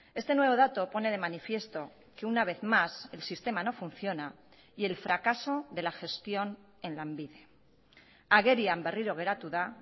este nuevo dato pone de manifiesto que una vez más el sistema no funciona y el fracaso de la gestión en lanbide agerian berriro geratu da